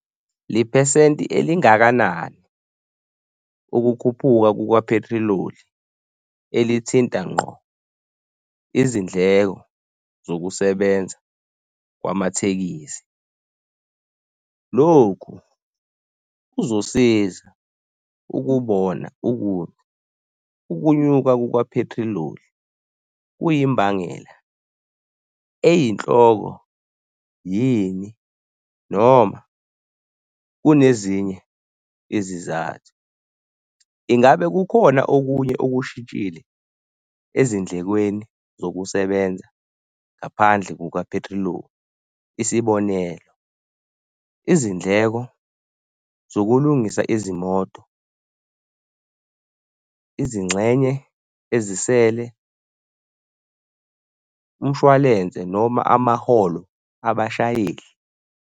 Lephesenti elingakanani ukukhuphuka kukaphethiloli elithinta ngqo izindleko zokusebenza kwamatekisi. Lokhu kuzosiza ukubona ukuthi ukunyuka kukaphethiloli kuyimbangela eyinhloko yini noma kunezinye izizathu. Ingabe kukhona okunye okushintshile ezindlekweni zokusebenza ngaphandle kukaphethiloli? Isibonelo izindleko zokulungisa izimoto, izingxenye ezisele, umshwalense noma amaholo abashayeli.